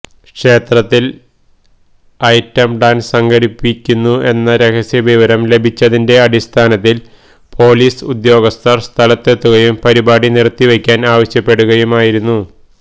ക്ഷേത്രത്തില് item dance സംഘടിപ്പിക്കുന്നു എന്ന രഹസ്യവിവരം ലഭിച്ചതിന്റെ അടിസ്ഥാനത്തില് പൊലീസ് ഉദ്യോഗസ്ഥര് സ്ഥലത്തെത്തുകയും പരിപാടി നിര്ത്തിവെയ്ക്കാന് ആവശ്യപ്പെടുകയുമയിരുന്നു